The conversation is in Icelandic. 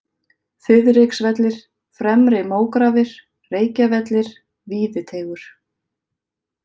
Þiðriksvellir, Fremri-Mógrafir, Reykjavellir, Víðiteigur